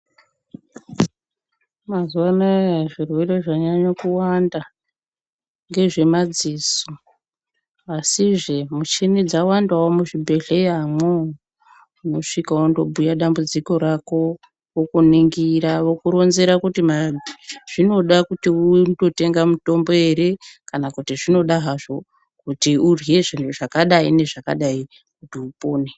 Mazuva anaya zvirwere zvanyanyo kuwanda ngezvemadziso asizve mishini dzawandawo muzvibhedhleya mwoo unosvika wondobhuya dambudziko rako vokuningira vokuronzera kuti zvinoda kuti wonotenga mutombo here kana kuti zvinoda hazvo kuti unodye zvinhu zvakadai nokudai kuti upone